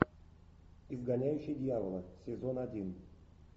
изгоняющий дьявола сезон один